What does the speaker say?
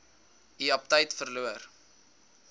u aptyt verloor